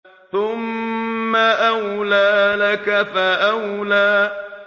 ثُمَّ أَوْلَىٰ لَكَ فَأَوْلَىٰ